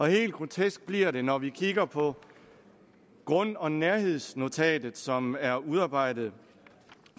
helt grotesk bliver det når vi kigger på grund og nærhedsnotatet som er udarbejdet